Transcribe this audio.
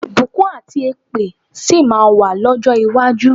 Ìbùkún àti èpè sì máa wà lọ́jọ́ iwájú.